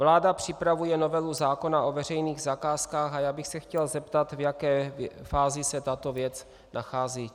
Vláda připravuje novelu zákona o veřejných zakázkách a já bych se chtěl zeptat, v jaké fázi se tato věc nachází.